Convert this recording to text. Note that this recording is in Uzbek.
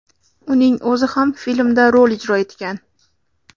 Uning o‘zi ham filmda rol ijro etgan.